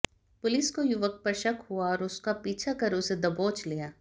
police को युवक पर शक हुआ और उसका पीछा कर उसे दबोच लिया